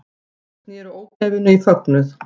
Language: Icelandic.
Snéru ógæfunni í fögnuð